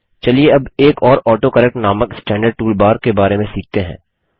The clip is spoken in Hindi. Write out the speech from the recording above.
चलिए अब एक और ऑटोकरेक्ट नामक स्टैन्डर्ड टूल बार के बारे में सीखते हैं